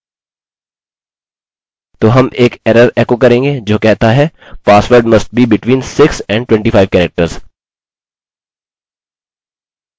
अतः अन्यथा हम लिखेंगे register the user यूज़र को पंजीकरण करने के लिए हमारा कोड यहाँ होगा